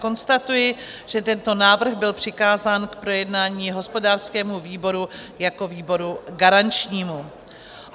Konstatuji, že tento návrh byl přikázán k projednání hospodářskému výboru jako výboru garančnímu.